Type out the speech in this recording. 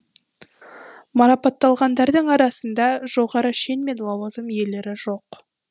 марапатталғандардың арасында жоғары шен мен лауазым иелері жоқ